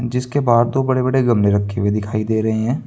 जिसके बाहर दो बड़े बड़े गमले रखे हुए दिखाई दे रहे हैं।